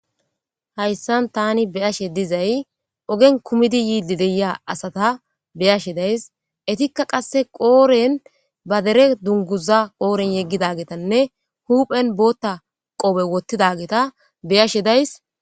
hayssan tani beyashe dizay ogen kumidi yiidi deya asata beyashe days etikka qasse qooren ba dere dunguza qooren yeggida geetanne huuphen bootta qowe wottida geeta beyashe days